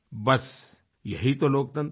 बस यही तो लोकतंत्र है